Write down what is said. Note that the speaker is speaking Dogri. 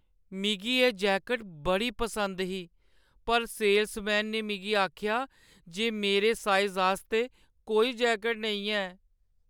मिगी एह् जैकट बड़ी पसंद ही पर सेलसमैन ने मिगी आखेआ जे मेरे साइज आस्तै कोई जैकट नेईं है।